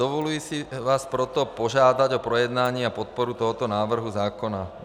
Dovoluji si vás proto požádat o projednání a podporu tohoto návrhu zákona.